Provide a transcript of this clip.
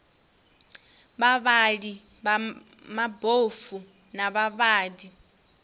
vhavhali vha mabofu na vhavhali